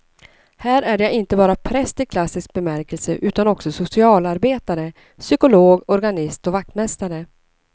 Här är jag inte bara präst i klassisk bemärkelse utan också socialarbetare, psykolog, organist och vaktmästare.